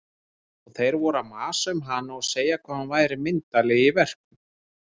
Og þeir voru að masa um hana og segja hvað hún væri myndarleg í verkum.